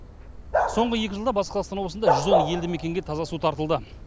соңғы екі жылда батыс қазақстан облысында жүз он елді мекенге таза су тартылды